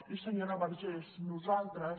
i senyora vergés nosaltres